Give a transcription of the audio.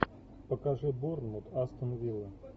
покажи борнмут астон вилла